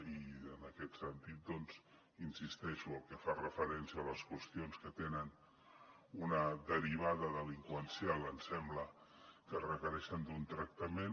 i en aquest sentit doncs hi insisteixo el que fa referència a les qüestions que tenen una derivada delinqüencial ens sembla que requereixen un tractament